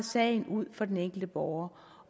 sagen ud for den enkelte borger